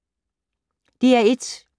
DR1